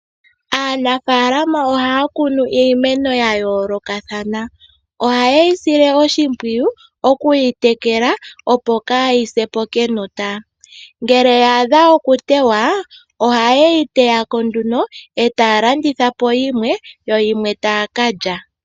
Aanafaalama ohaya kunu iimeno yayoolokathana ohayeyi sile oshimpwiyu okuyi tekela opo yahase po kenota ngele ya adha okutewa ohayeyi teyako etaya landitha po yimwe yo yimwe taya kalya.